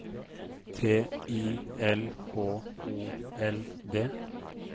T I L H O L D